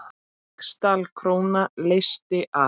Ríksdal króna leysti af.